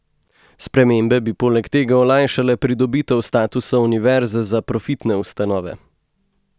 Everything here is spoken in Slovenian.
Spremembe bi poleg tega olajšale pridobitev statusa univerze za profitne ustanove.